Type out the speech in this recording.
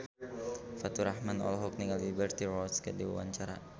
Faturrahman olohok ningali Liberty Ross keur diwawancara